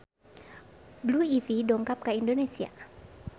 Blue Ivy dongkap ka Indonesia